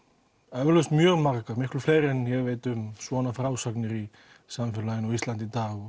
eflaust mjög margar og miklu fleiri en ég veit um svona frásagnir á samfélaginu á Íslandi í dag